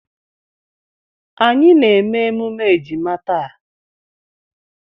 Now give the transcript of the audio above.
Anyị na-eme emume ejima taa.